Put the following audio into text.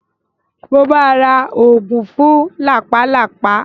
Mo máa ra oògùn fún làpálàpá.